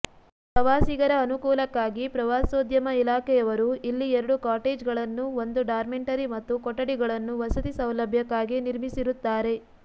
ಪ್ರವಾಸಿಗರ ಅನುಕೂಲಕ್ಕಾಗಿ ಪ್ರವಾಸೋದ್ಯಮ ಇಲಾಖೆಯವರು ಇಲ್ಲಿ ಎರಡು ಕಾಟೇಜ್ಗಳನ್ನು ಒಂದು ಡಾರ್ಮೆಂಟರಿ ಮತ್ತು ಕೊಠಡಿಗಳನ್ನು ವಸತಿ ಸೌಲಭ್ಯಕ್ಕಾಗಿ ನಿರ್ಮಿಸಿರುತ್ತಾರೆ